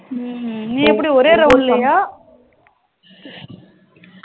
ஹம் நீ எப்படி ஒரே round லயா